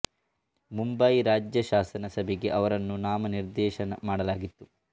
ಮುಂಬಯಿ ರಾಜ್ಯ ಶಾಸನ ಸಭೆಗೆ ಅವರನ್ನು ನಾಮ ನಿರ್ದೇಶನ ಮಾಡಲಾಗಿತ್ತು